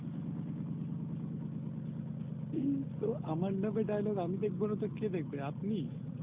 এই তো আমার নামে Dialogue আমি দেখবো নাতো কে দেখবে আপনি